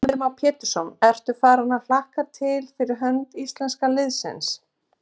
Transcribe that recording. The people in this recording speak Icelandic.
Heimir Már Pétursson: Ertu farin að hlakka til fyrir hönd íslenska liðsins?